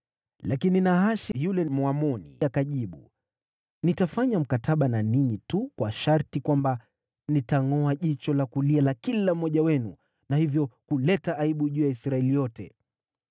Lakini Nahashi yule Mwamoni akajibu, “Nitafanya mkataba na ninyi tu kwa sharti kwamba nitangʼoa jicho la kulia la kila mmoja wenu, na hivyo kuleta aibu juu ya Israeli yote.”